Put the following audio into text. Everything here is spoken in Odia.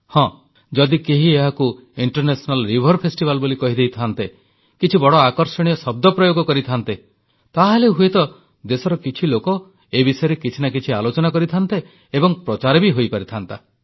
ହଁ ଯଦି କେହି ଏହାକୁ ଅନ୍ତର୍ଜାତୀୟ ନଦୀ ମହୋତ୍ସବ ବୋଲି କହିଦେଇଥାନ୍ତେ କିଛି ବଡ଼ ଆକର୍ଷଣୀୟ ଶବ୍ଦ ପ୍ରୟୋଗ କରିଥାନ୍ତେ ତାହେଲେ ହୁଏତ ଦେଶର କିଛି ଲୋକ ଏ ବିଷୟରେ କିଛି ନା କିଛି ଆଲୋଚନା କରିଥାନ୍ତେ ଏବଂ ପ୍ରଚାର ବି ହୋଇପାରିଥାନ୍ତା